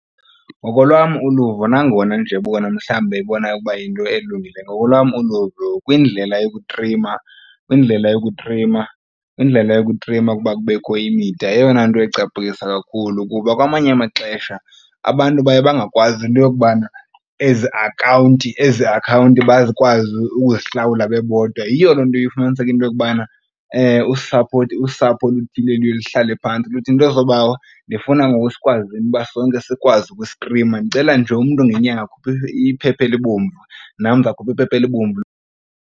Ngokolwam uluvo nangona nje bona mhlawumbi beyibona ukuba yinto elungileyo. Ngokolwam uluvo kwindlela yokutrima kuba kubekho imida eyona nto ecaphukisa kakhulu kuba kwamanye amaxesha abantu baye bangakwazi into yokubana ezi akhawunti bakwazi ukuzihlawula bebodwa. Yiyo loo nto efumaniseka into yokubana usapho oluthile luye luhlale phantsi luthi nto zoobawo ndifuna ngoku sikwazi uba sonke sikwazi ukustrima. Ndicela nje umntu ngenyanga akhuphe iphepha elibomvu nam ndizakhupha iphepha elibomvu.